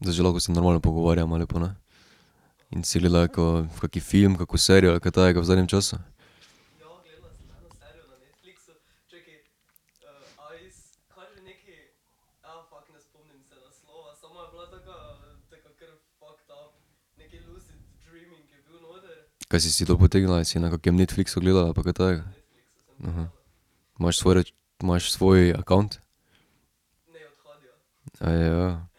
Zdaj že lahko se normalno pogovarjava lepo, ne? In si gledala kako, v kaki film, kako serijo ali kaj takega v zadnjem času? Kaj si si dol potegnila ali si na kakem Netflixu gledala ali pa kaj takega? Imaš svoj ... Imaš svoj account? Aja. Pa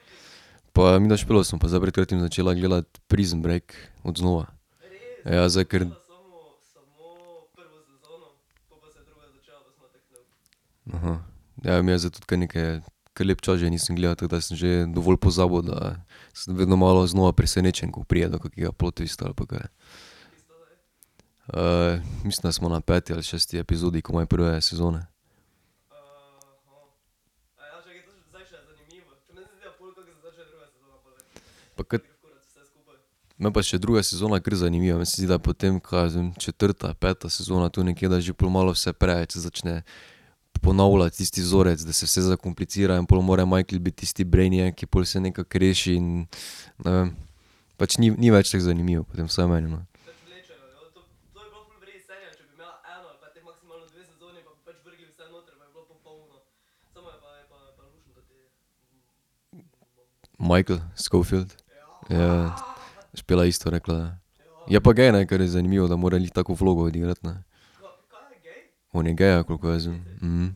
midva s Špelo sva pa zdaj pred kratkim začela gledati Prison break, od znova. Ja, zdaj kar ... Ja, midva zdaj tudi kar nekaj, kar lep čas že nisem gledal, tako da sem že dovolj pozabil, da sem vedno malo znova presenečen, ko pride do kakšnega plot twista ali pa kaj. mislim, da smo na peti ali šesti epizodi komaj prve sezone. No, pa še druga sezona je kar zanimiva, meni se zdi, da potem, kaj jaz vem, četrta, peta sezona, tu nekje, da je že pol malo vse preveč se začne ponavljati isti vzorec, da se vse zakompliciral in pol more Michael biti tisti brainiac, ki pol vse nekako reši, in ne vem, pač ni, ni več tako zanimivo potem, vsaj meni, no. Michael Scofield. Ja, Špela je isto rekla, ja. Je pa gej, ne, kar je zanimivo, da more glih tako vlogo odigrati, ne. On je gej, ja, koliko jaz vem,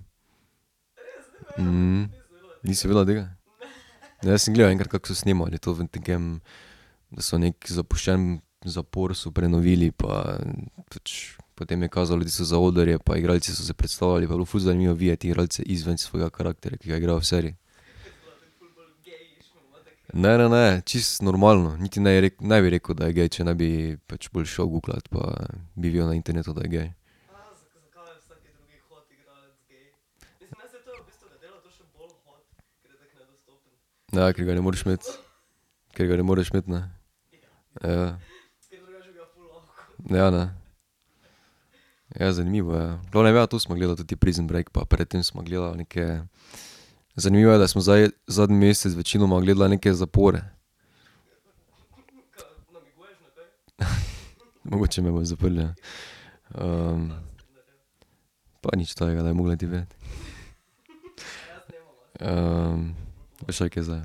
Nisi vedela tega? Ja, jaz sem gledal enkrat, kako so snemali to v takem, da so neki zapuščen zapor so prenovili pa pač, potem je kazalo tisto zaodrje pa igralci so se predstavljali pa je bilo ful zanimivo videti igralce izven svojega karakterja, ki ga igrajo v seriji. Ne, ne, ne, čisto normalno, niti neji ne bi rekel, da je kje, če ne bi pač pol šel guglati, pa bi videl na internetu, da je gej. ke ga ne moreš imeti? Ker ga ne moreš imeti, ne? Ja. Ja, ne. Ja, zanimivo, ja. V glavnem, ja, to sva gledala ta Prison break pa pred tem sva gledala neke, zanimivo je, da sva zdaj zadnji mesec večinoma gledala neke zapore. Mogoče me bojo zaprli, ja. Pa nič takega, da bi mogla ti vedeti. počakaj zdaj,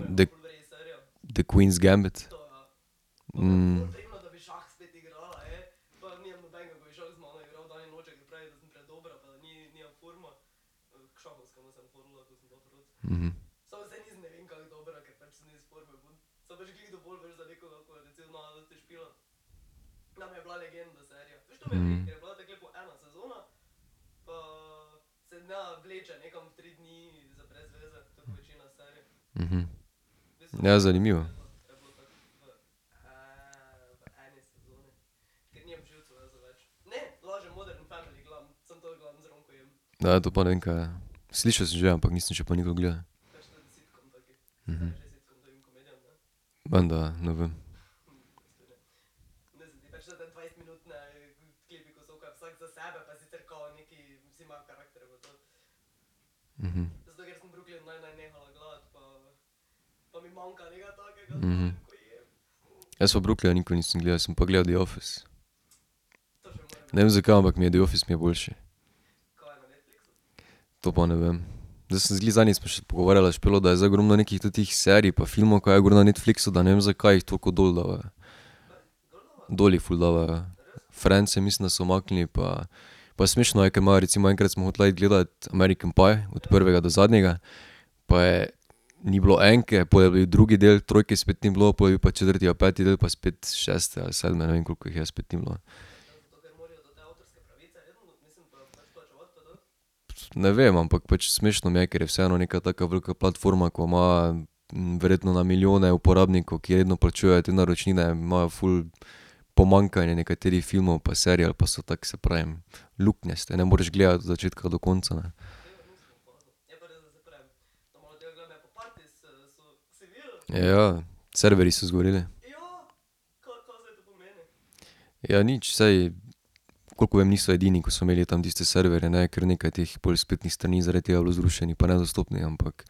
daj The queen's gambit. Ja, zanimivo. to pa ne vem, kaj je. Slišal sem že, ampak nisem pa še nikoli gledal. Menda, ja, ne vem. Jaz pa Brooklyna nikoli nisem gledal, sem pa gledal The Office. Ne vem, zakaj, ampak mi je The Office mi je boljši. To pa ne vem. glih zadnjič pogovarjala s Špelo, da je zdaj ogromno nekih tetih serij pa filmov, ko je gor na Netflixu, da ne vem, zakaj jih toliko dol davajo. Dol jih ful davajo, ja. Friendse, mislim, da so umaknili pa pa smešno je, ke imajo, recimo enkrat sva hotela iti gledat American, pa je od prvega do zadnjega pa je ni bilo enke, pol je bil drugi del, trojke spet ni bilo pol je bil pa četrti pa peti del pa spet šesti ali sedmi, ne vem, koliko jih je, spet ni bilo. Ne vem, ampak pač smešno mi je, ker je vseeno neka taka velika platforma, ko ima, verjetno na milijone uporabnikov, ki redno plačujejo te naročnine, imajo ful pomanjkanje nekaterih filmov pa serij ali pa so tako, saj pravim, luknjaste, ne moreš gledati od začetka do konca, ne. Ja, serverji so zgoreli. Ja, nič saj, koliko vem, niso edini, ko so imeli tam tiste serverje, ne, ker nekaj teh pol spletnih strani je zaradi tega bilo zrušenih pa nedostopnih, ampak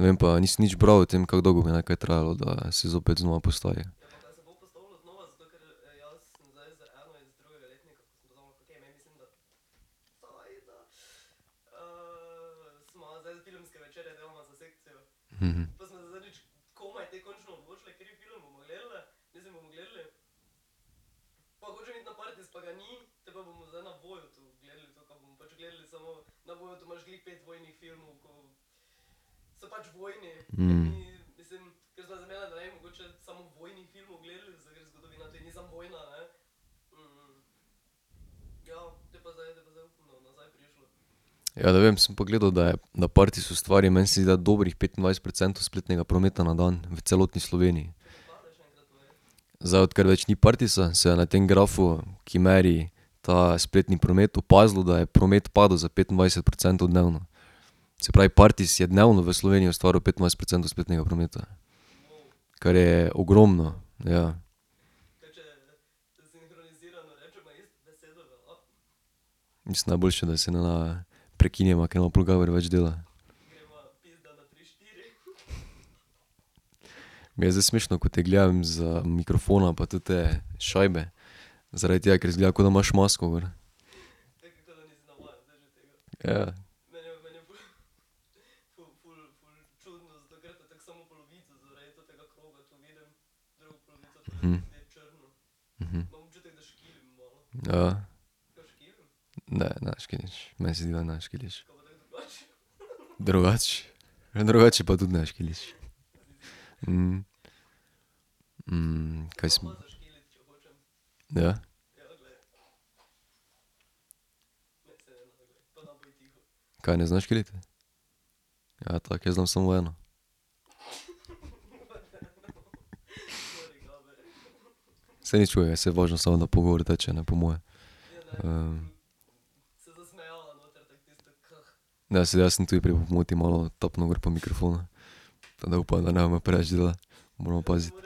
ne vem pa, nisem nič bral o tem, kako dolgo bi naj kaj trajalo, da se zopet znova postavi. Ja, ne vem, sem pa gledal, da je, na Partis stvari, meni se zdi, da dobrih petindvajset procentov spletnega prometa na dan v celotni Sloveniji. Zdaj, odkar več ni Partisa, se je na tem grafu, ki meri ta spletni promet, opazilo, da je promet padel za petindvajset procentov dnevno. Se pravi Partis je dnevno v Sloveniji ustvaril petindvajset procentov spletnega prometa. Kar je ogromno, ja. Mislim najboljše, da se ne prekineva, ker ima pol Gaber več dela. Mi je zdaj smešno, ko te gledam z mikrofonom pa tete šajbe, zaradi tega, ker izgleda, ko da imaš masko gor. Ja. Ja. Ne, ne škiliš, meni se zdi, da ne škiliš. Drugače, drugače pa tudi ne škiliš. kaj ... Ja? Kaj ne zna škiliti? Ja, tako jaz znam samo eno. Saj nič hudega, saj važno samo, da pogovor teče, ne, po moje. Ne, saj jaz sem tudi prej po pomoti malo tapnil gor po mikrofonu. Tako da upam, da ne bo imel preveč dela. Moramo paziti.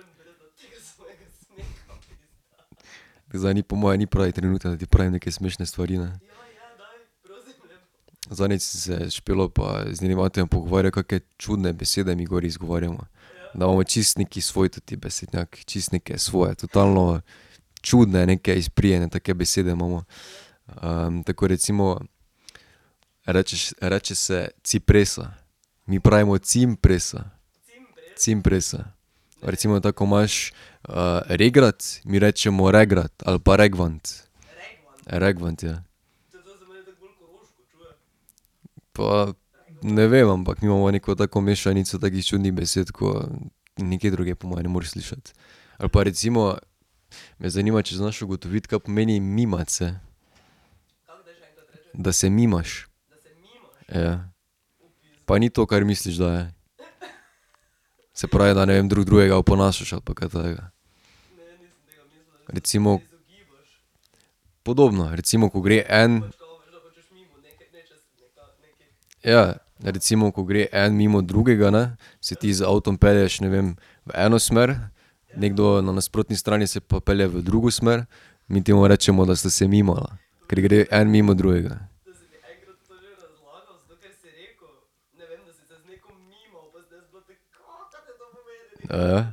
Zdaj ni po moje ni pravi trenutek, da ti pravim neke smešne stvari, ne. Zadnjič sem se s Špelo pa z njenim atijem pogovarjal, kake čudne besede mi gor izgovarjamo. Da imamo čisto neki svoji teti besednjak, čisto neke svoje totalno čudne neke izprijene take besede imamo. tako ko recimo rečeš, reče se cipresa, mi pravimo cimpresa. Cimpresa. Recimo, tako ko imaš, regrat, mi rečemo regrat ali pa regvant. Regvant, ja. Pa ... Ne vem, ampak mi imamo neko tako mešanico takih čudnih besed, ko nikjer drugje po moje ne moreš slišati. Ali pa recimo me zanima, če znaš ugotoviti, kaj pomeni, mimati se. Da se mimaš. Ja. Pa ni to, kar misliš, da je. Se pravi, da ne vem drug drugega oponašaš ali pa kaj takega. Recimo ... Podobno, recimo, ko gre en ... Ja. Recimo, ko gre en mimo drugega, ne, se ti z avtom pelješ, ne vem, v eno smer, nekdo na nasprotni strani se pa pelje v drugo smer, mi temu rečemo, da sta se mimala, ker gre en mimo drugega. Ja,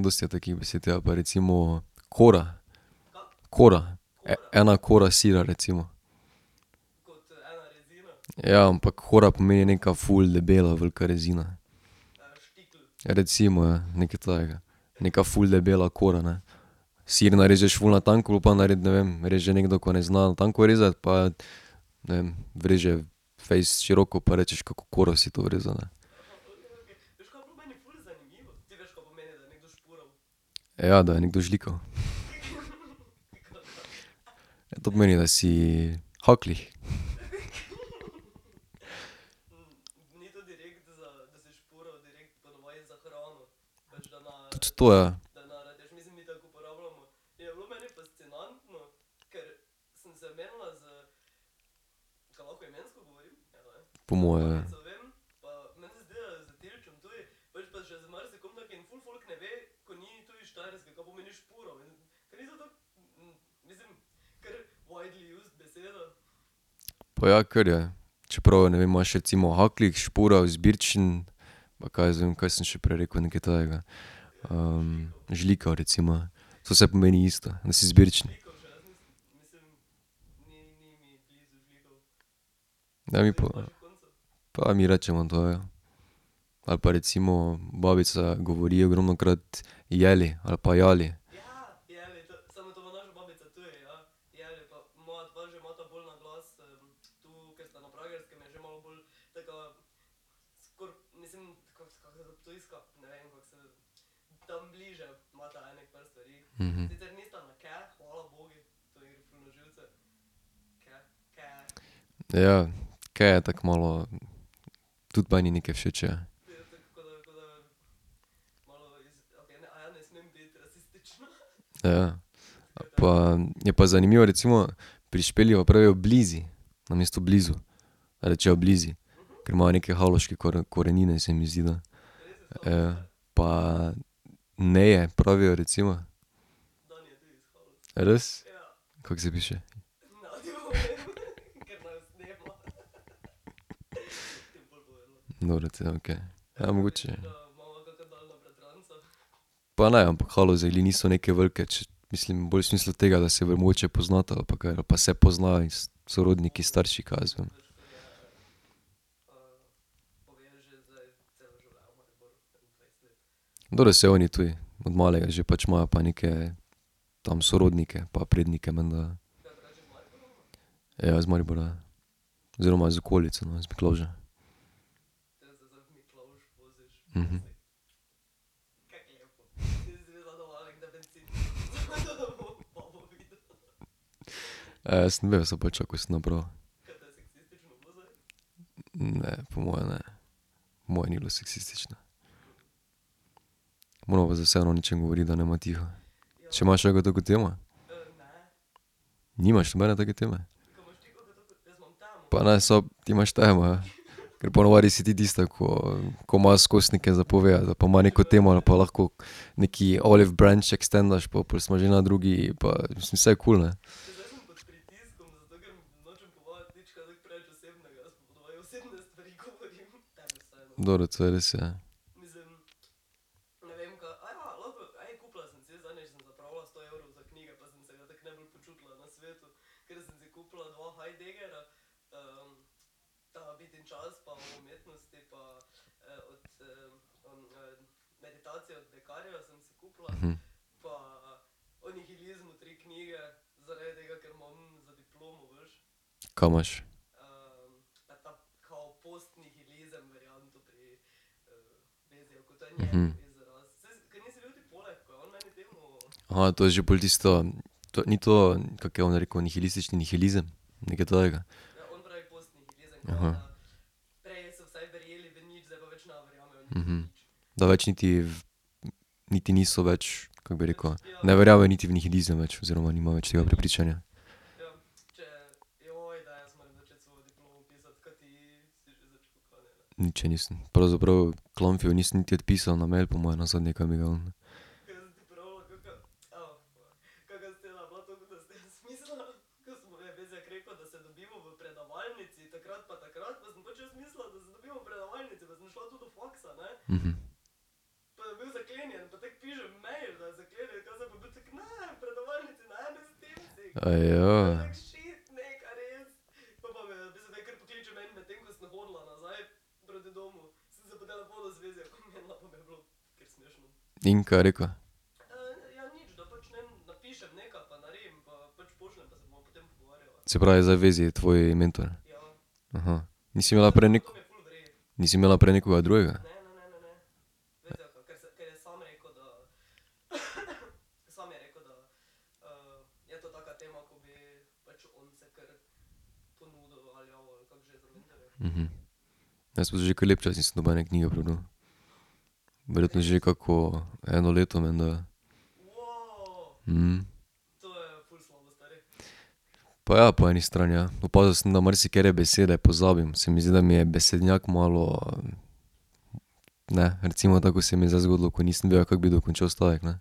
dosti je takih besed, ja, pa recimo kora. Kora, ena kora sira, recimo. Ja, ampak kora pomeni ena ful debela velika rezina. Recimo, ja, nekaj takega. Neka ful debela kora, ne. Sir narežeš ful na tanko pol pa ne vem, reže nekdo, ki ne zna na tanko rezati, pa ne vem vreže fejst široko pa rečeš: "Kako koro si to vrezal?", ne. Ja, da je nekdo žlikav. Ja to pomeni, da si haklih. Tudi to, ja. Po moje, ja. Pa ja, kar, ja. Čeprav ne vem, imaš recimo haklih, špura, izbirčen, pa kaj jaz vem, kaj sem še prej rekel nekaj takega. žlikav recimo, ja, saj vse pomani isto, da si izbirčen. Daj mi ... pa mi rečemo, da ja. Ali pa recimo, babica govori ogromnokrat jedli ali pa jali. Ja, ker je tako malo ... Tudi meni ni kaj všeč, ja. Pa, je pa zanimivo, recimo pri Špeli pa pravijo blizi, namesto blizu. Rečejo blizi, ker imajo neke haloške korenine, se mi zdi, da. pa neje pravijo recimo. Res? Kako se piše? Dobro potem, okej. Ja, mogoče. Pa ne, ampak Haloze glih niso neke velike, če, mislim bolj v smislu tega, da se mogoče poznata ali pa kaj ali pa se poznajo iz, sorodniki, starši, kaj jaz vem. Dobro, saj oni tudi, od malega že, pač imajo pa neke tam sorodnike pa prednike menda, ja. Ja iz Maribora, ja. Oziroma iz okolice, no, iz Miklavža. sem vedel ne, po moje ne. Po moje ni bilo seksistično. Morava pa zdaj vseeno o nečem govoriti, da ne bova tiho. Če imaš kako tako temo? Nimaš nobene take teme? Pa ne ti imaš temo, ja, ker po navadi si ti tista, ko, ko ima skozi nekaj za povedati, zdaj pa ima neko temo, je pa lahko nekaj olive branch ekstendaš pa pol smo že na drugi, pa mislim, saj je kul, ne. Dobro, to je res, ja. Ka imaš? to je že pol tisto, ni to, kako je on rekel, nihilistični nihilizem, nekaj takega. Da več niti, niti niso več, kako bi rekel, ne verjamejo niti v nihilizem več oziroma nimajo več tega prepričanja? Nič še nisem, pravzaprav Klamfeju nisem niti odpisal na mail po moje, nazadnje kaj mi ga je on. In, kaj je rekel? Se pravi, zdaj Vezi je tvoj mentor? Nisi imela prej Nisi imela prej nekoga drugega? Jaz pa že kar lep čas nisem nobene knjige prebral. Verjetno že kako eno leto menda. Pa ja po eni strani, ja. Pa opazil sem, da marsikatere besede pozabim, se mi zdi, da mi je besednjak malo ne, recimo, tako kot se mi je zdaj zgodilo, ko nisem vedel, kako bi dokončal stavek, ne.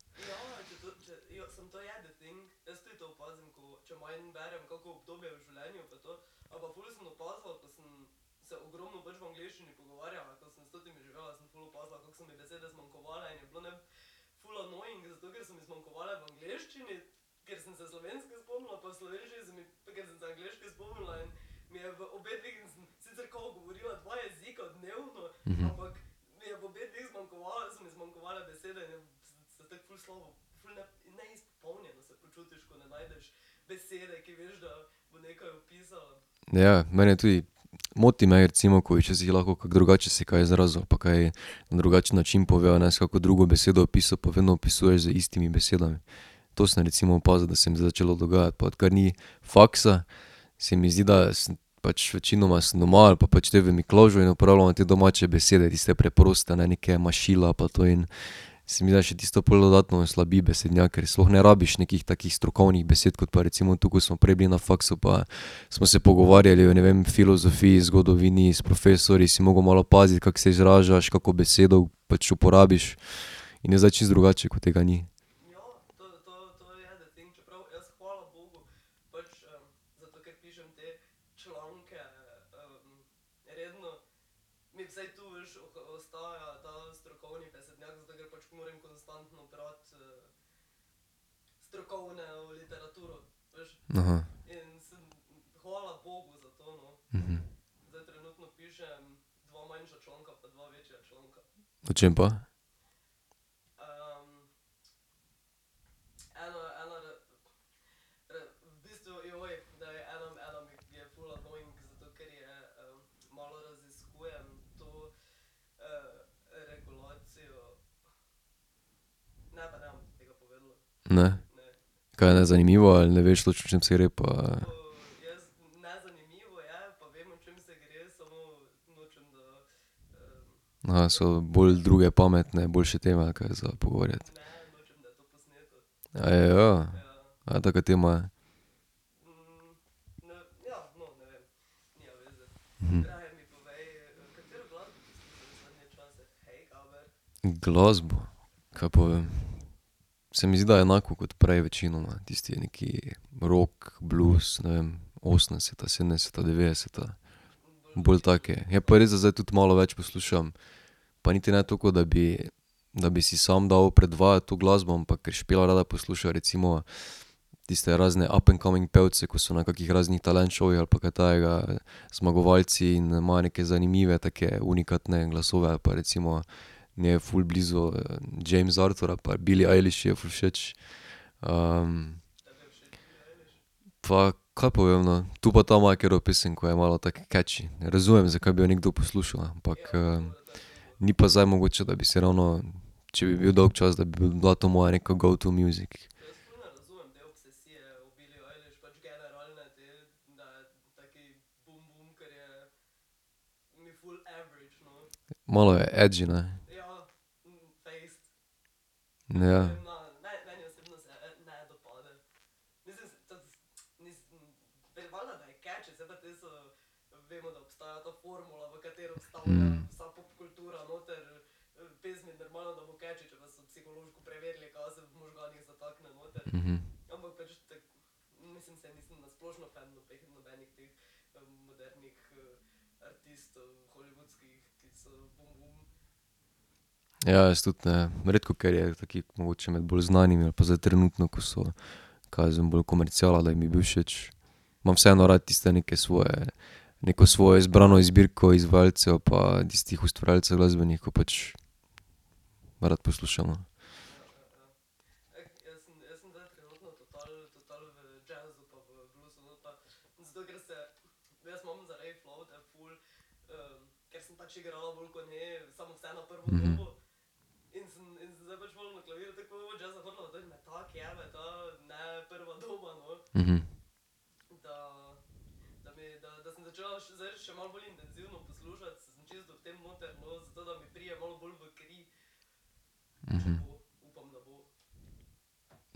Ja, mene tudi. Moti me recimo, ko bi včasih lahko kako drugače se kaj izrazil ali pa kaj na drugačen način povedal, ne, s kako drugo besedo opisal, pa vedno opisuješ z istimi besedami. To sem recimo opazil, da se mi je zdaj začelo dogajati, pa odkar ni faksa, se mi zdi, da sem pač večinoma sem doma ali pa pač te v Miklavžu in uporabljamo te domače besede, tiste preproste, ne, neka mašila pa to, in se mi zdi, da tisto pol dodatno oslabi besednjak, ker sploh ne rabiš nekih takih strokovnih besed kot pa recimo tu, ko smo prej bili na faksu pa smo se pogovarjali o, ne vem, o filozofiji, zgodovini, s profesorji si mogel malo paziti, kako se izražaš, kako besedo pač uporabiš, in je zdaj čisto drugače, ko tega ni. O čem pa? Ne. Kaj je nezanimivo ali ne veš točno, o čem se gre pa? so bolj druge pametne boljše teme ali kaj za pogovarjati? A taka tema je? Glasbo? Ka pa vem. Se mi zdi, da enako kot prej večinoma. Tisti neki rock, blues, ne vem osemdeseta, sedemdeseta, dvajseta, bolj take, je pa res, da zdaj tudi malo več poslušam pa niti ne to, kot da bi, da bi si samo dal predvajati to glasbo, ampak ker Špela rada posluša recimo tiste razne up-and-coming pevce, ko so na kakih raznih talent šovih ali pa kaj takega, zmagovalci in imajo neke zanimive take unikatne glasove ali pa recimo ... Njej je ful blizu, James Arthur ali pa Billie Eilish ji je ful všeč. ... Pa, kaj pa vem, no. Tu pa tam ima katero pesem, ko je malo tako catchy, razumem, zakaj bi jo nekdo poslušal, ampak, ni pa zdaj mogoče, da bi si ravno, če bi bil dolgčas, da bi bila to moja neka go to music. Malo je edgy, ne? Ja. Ja, jaz tudi ne, redko, ker je taki mogoče med bolj znanimi, ali pa zdaj trenutno, ko so, kaj jaz vem, bolj komerciala, da bi mi bil všeč. Imam vseeno rad tiste neke svoje, neko svojo izbrano zbirko izvajalcev pa tistih ustvarjalcev glasbenih, ko pač rad poslušam, no.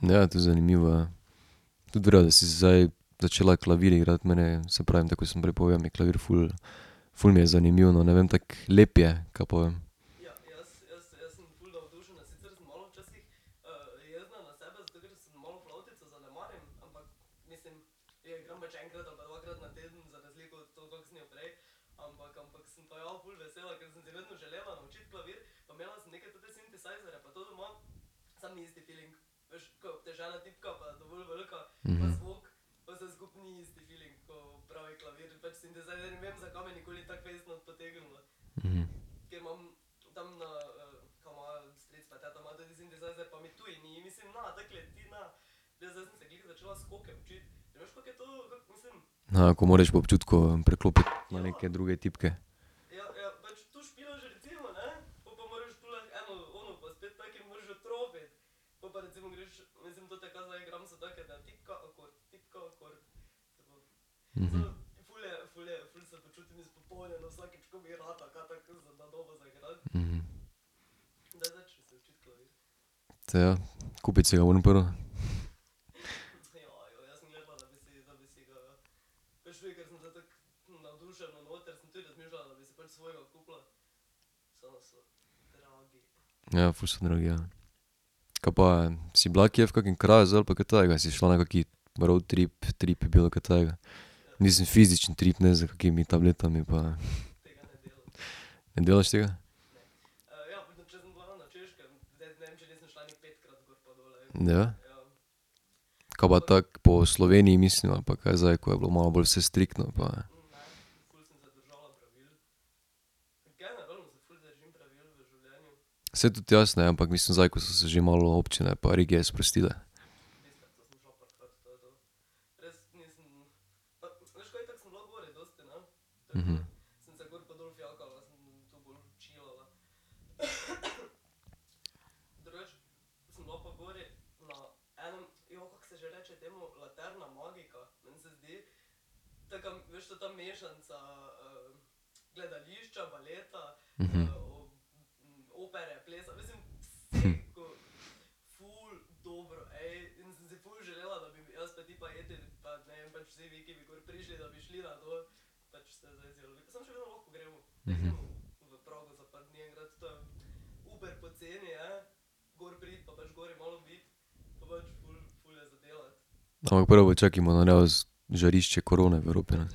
Ja, to je zanimivo, ja. Tudi v redu, da si se zdaj začela klavir igrati, meni, saj pravim, tako kot sem prej povedal, mi klavir ful, ful mi je zanimivo, no, tako lep je, kaj pa vem. ko moraš po občutku preklopiti na neke druge tipke. Saj, ja, kupiti si ga moram prvo. Ja, ful so dragi, ja. Ka pa si bila kje v kakem kraju zdaj ali pa kaj takega, si šla na kaki roadtrip, trip, bilo kaj takega? Mislim fizičen trip, ne s kakimi tabletami pa ... Ne delaš tega? Ja. Ka pa tako po Sloveniji, mislim, ali pa kaj zdaj, ko je bilo malo bolj vse striktno pa. Saj tudi jaz ne, ampak mislim zdaj, ko so se že malo občine pa regije sprostile. Ampak prvo počakaj malo, da neo žarišče korone v Evropi, ne.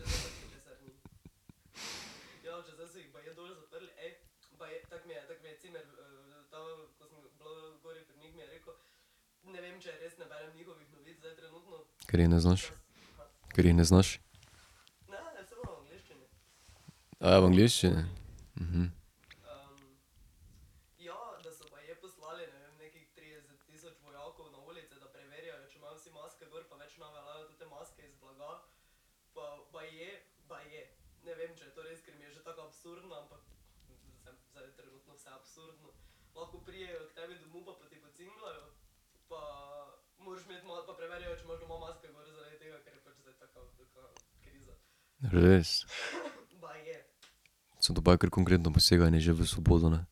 Ker je ne znaš? Ker je ne znaš? Aja v angleščini? Res? Samo to je pa kar konkretno poseganje že v svobodo, ne.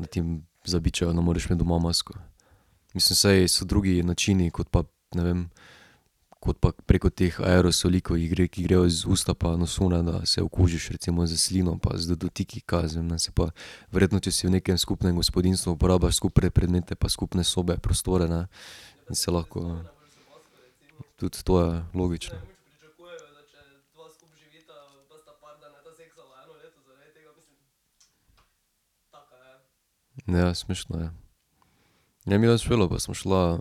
Da ti zabičajo, da moraš imeti doma masko. Mislim, saj so drugi načini kot pa, ne vem, kot pa preko teh aerosolov, ko jih gre, ki grejo iz usta pa nosu, da, da se okužiš, recimo s slino pa z dotiki, kaj jaz vem, ne, saj pa ... Verjetno če si v nekem skupnem gospodinjstvu uporabljaš skupne predmete pa skupne sobe, prostore, ne, da se lahko ... Tudi to, ja, logično. Ja, smešno je. Ja, midva s Špelo pa sva šla,